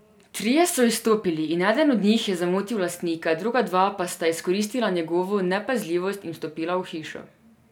Trije so izstopili in eden od njih je zamotil lastnika, druga dva pa sta izkoristila njegovo nepazljivost in vstopila v hišo.